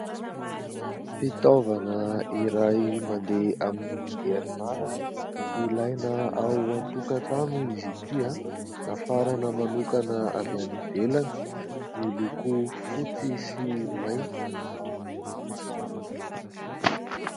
Fitaovana iray mandeha amin'ny herinaratra, ilaina ao an-tokatrano izy ity ; nafarana manokana avy any ivelany ; miloko fotsy sy mainty.